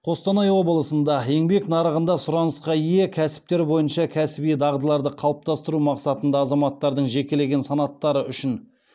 қостанай облысында еңбек нарығында сұранысқа ие кәсіптер бойынша кәсіби дағдыларды қалыптастыру мақсатында азаматтардың жекелеген санаттары үшін